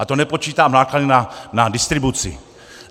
A to nepočítám náklady na distribuci.